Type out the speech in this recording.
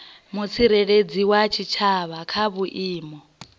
mutsireledzi wa tshitshavha kha vhuimo